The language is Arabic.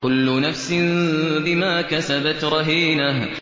كُلُّ نَفْسٍ بِمَا كَسَبَتْ رَهِينَةٌ